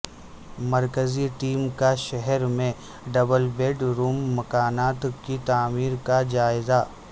مرکزی ٹیم کا شہر میں ڈبل بیڈ روم مکانات کی تعمیر کا جائزہ